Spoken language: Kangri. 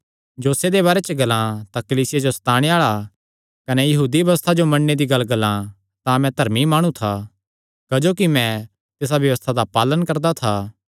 जोशे दे बारे च जे ग्लान तां कलीसिया जो सताणे आल़ा कने यहूदी व्यबस्था जो मन्नणे दी गल्ल ग्लान तां मैं धर्मी माणु था क्जोकि मैं तिसा व्यबस्था दा पालण करदा था